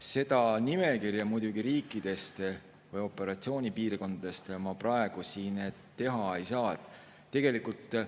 Seda nimekirja riikidest või operatsioonipiirkondadest ma praegu siin muidugi ei saa.